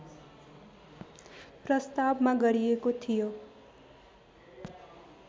प्रस्तावमा गरिएको थियो